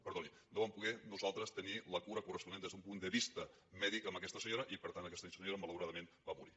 perdoni no vam poder nosaltres tenir la cura corresponent des d’un punt de vista mèdic amb aquesta senyora i per tant aquesta senyora malauradament va morir